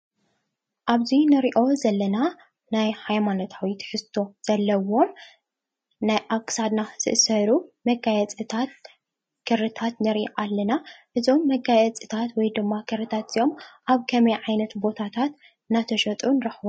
ኣብዚ እንሪኦ ዘለና ናይ ሃይማናታዊ ትሕዝቶ ዘለዎ ናይ ኣብ ክሳድና ዝእሰሩ መጋየፂታት ክሪታት ንሪኢ ኣለና። እዞም መጋየፅታት ወይ ድማ ክሪታት እዞም ኣብ ከመይ ዓይነት ቦታት እንዳተሸጡ ንረክቦም?